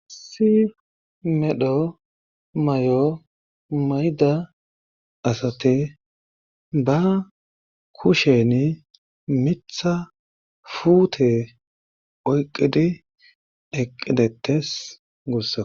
Issi medho may7o mayda asate ba kushen mitha fuute oyqidi eqqidettes gussa